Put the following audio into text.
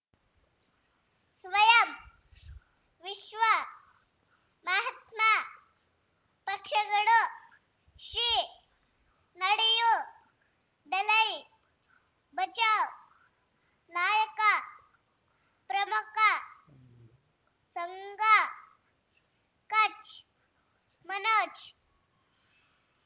ಸ್ವಯಂ ವಿಶ್ವ ಮಹಾತ್ಮ ಪಕ್ಷಗಳು ಶ್ರೀ ನಡೆಯೂ ದಲೈ ಬಚೌ ನಾಯಕ ಪ್ರಮುಖ ಸಂಘ ಕಚ್ ಮನೋಜ್